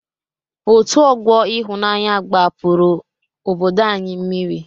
Òtù ọgbọ Ịhụnanya gbapụrụ obodo anyị mmiri.